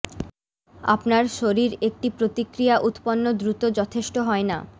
আপনার শরীর একটি প্রতিক্রিয়া উত্পন্ন দ্রুত যথেষ্ট হয় না